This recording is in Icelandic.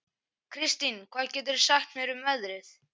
Kristin, hvað geturðu sagt mér um veðrið?